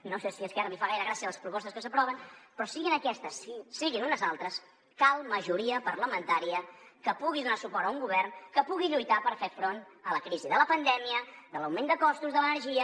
no sé si a esquerra li fan gaire gràcia les propostes que s’aproven però siguin aquestes siguin unes altres cal majoria parlamentària que pugui donar suport a un govern que pugui lluitar per fer front a la crisi de la pandèmia de l’augment de costos de l’energia